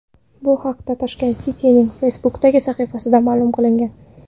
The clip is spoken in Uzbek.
Bu haqda Tashkent City’ning Facebook’dagi sahifasida ma’lum qilingan .